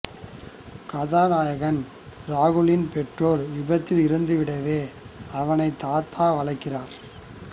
கதாநாயகன் ராகுலின் பெற்றோர் விபத்தில் இறந்துவிடவே அவனை தாத்தா வளர்க்கிறார்